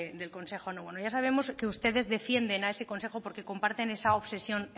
de del consejo bueno ya sabemos que ustedes defienden a ese consejo porque comparten esa obsesión